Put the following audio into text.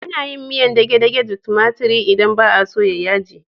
Ana yin miyar dage-dage da tumatiri idan ba a so ta yi yaji.